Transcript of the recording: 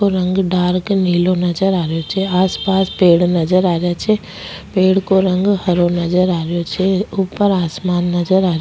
को रंग डार्क नीलो नजर आ रियो छे आसपास पेड़ नजर आ रिया छे पेड़ को रंग हरो नजर आ रियो छे ऊपर आसमान नजर आ --